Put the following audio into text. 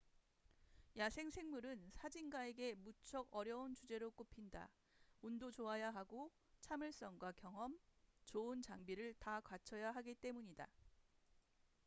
야생생물은 사진가에게 무척 어려운 주제로 꼽힌다 운도 좋아야 하고 참을성과 경험 좋은 장비를 다 갖춰야 하기 때문이다